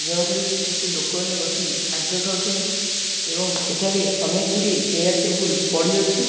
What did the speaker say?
ଯେଉଁଠାରେ କି କିଛି ଲୋକ ମାନେ ବସି ଖାଦ୍ୟ ଖାଉଛନ୍ତି ଏବଂ ସେଠାରେ ଅନେକ ଗୁଡ଼ିଏ ଚେୟାର୍ ଟେବୁଲ୍ ପଡ଼ିଅଛି।